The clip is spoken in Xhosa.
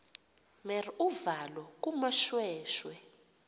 mer uvalo kumoshweshwe